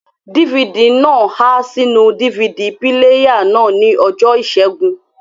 DVD náà há sínú DVD píléyà náà ní ọjọ́ ìṣẹ́gun